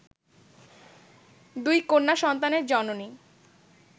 দুই কন্যা সন্তানের জননী